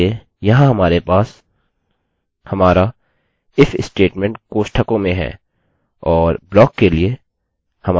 इसके लिए यहाँ हमारे पास हमारा if स्टेटमेंटstatement कोष्ठकों में है और ब्लाक के लिए हमारे कर्ली कोष्ठक यदि कंडिशन सही है